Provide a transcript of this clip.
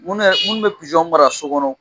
Minnu bɛ mara so kɔnɔ